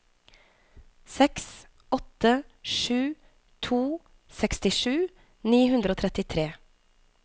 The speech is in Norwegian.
seks åtte sju to sekstisju ni hundre og trettitre